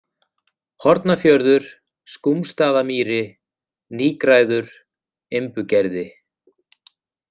Hornafjörður, Skúmsstaðamýri, Nýgræður, Imbugerði